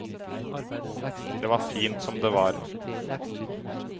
Det var fint som det var.